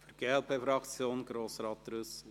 Für die glp-Fraktion: Grossrat Trüssel.